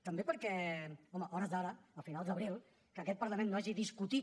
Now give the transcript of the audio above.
també perquè home a hores d’ara a finals d’abril que aquest parlament no hagi discutit